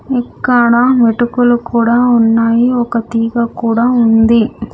ఇక్కడ మిటుకులు కూడా ఉన్నాయి ఒక తీగ కూడా ఉంది.